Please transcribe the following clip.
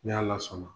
N'ala sɔnna